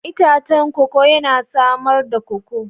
Itacen koko yana samar da koko.